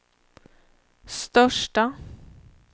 största